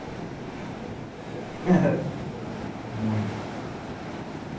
Que beleza, foram muitos buzinaços. Muito.